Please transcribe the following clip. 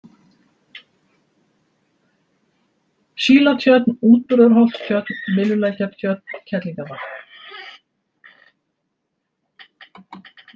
Sílatjörn, Útburðarholtstjörn, Myllulækjartjörn, Kerlingavatn